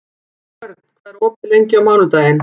Hörn, hvað er opið lengi á mánudaginn?